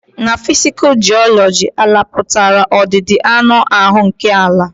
Ná physical geology, àlà pụtara ọdịdị anụ áhụ nkè àlà.